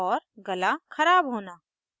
गला ख़राब होना